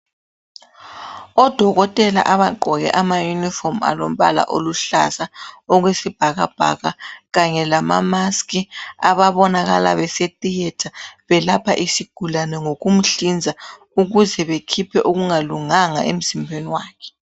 Odokotela abagqoke ama uniform alombala oluhlaza, okwesibhakabhaka. Kanye lama mask. Ababonakala, bese theatre. Belapha isigulane ngokumhlinza, ukuze bakhiphe okungalunganga emzimbeni wakhe,